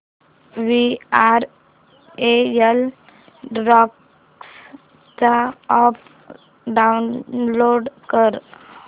VRL travels चा app download कर